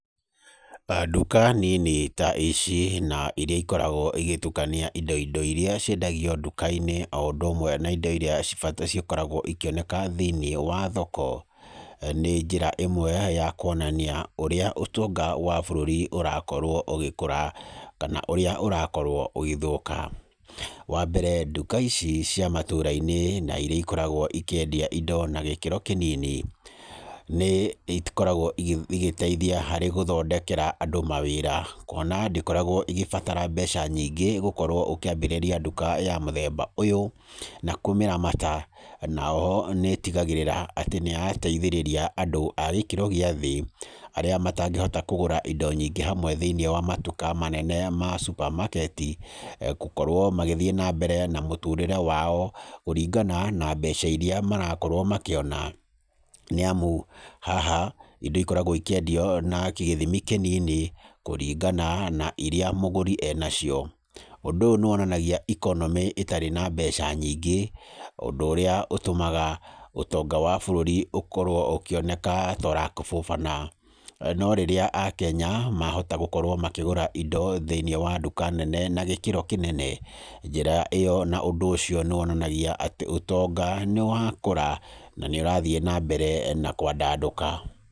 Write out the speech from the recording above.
Nduka nini ta ici na irĩa ikoragwo igĩtukania indo indo iria ciendagio nduka-inĩ o ũndũ ũmwe na indo irĩa cikoragwo cikĩoneka thĩinĩ wa thoko, nĩ njĩra ĩmwe ya kuonania ũrĩa ũtonga wa bũrũri ũrakorwo ũgĩkũra, kana ũrĩa ũrakorwo ũgĩthũka. Wa mbere nduka ici cia matũra-inĩ na irĩa ikoragwo ikĩendia indo na gĩkĩro kĩnini, nĩ ikoragwo igĩteithia harĩ gũthondekera andũ mawĩra. Kuona ndĩkoragwo ĩgĩbatara mbeca nyingĩ gũkorwo ũkĩambĩrĩria nduka ya mũthemba ũyũ na kũmĩramata. Na oho nĩ ĩtigagĩrĩra atĩ nĩ yateithĩrĩria andũ a gĩkĩro gĩa thĩ, arĩa matangĩhota kũgũra indo nyingĩ hamwe thĩinĩ wa matuka manene ma supermarket. Gũkorwo magĩthiĩ na mbere na mũtũũrĩre wao, kũringana na mbeca irĩa marakorwo makĩona, nĩ amu ingo ikoragwo ikĩendio na gĩthimi kĩnini kũringana na iria mũgũri enacio. Ũndũ ũyũ nĩ wonanagia economy ĩtarĩ na mbeca nyingĩ ũndũ ũrĩa ũtũmaga ũtonga wa bũrũri ũkorwo ũkĩoneka ta ũrakũbũbana. No rĩrĩa akenya mahota gũkorwo makĩgũra indo thĩinĩ wa nduka nene na gĩkĩro kĩnene, njĩra ĩyo na ũndũ ũcio nĩ wonanagia atĩ ũtonga nĩ wakũra na nĩ ũrathiĩ na mbere na kwandandũka.